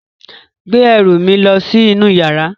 Gbé ẹrù mi lọ sí inú yàrá.